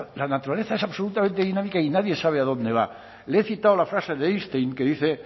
la naturaleza es absolutamente dinámica y nadie sabe adónde va le he citado la frase de einstein que dice